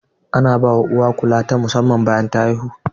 Ana bawa uwa kulawa ta musamman bayan ta haihu.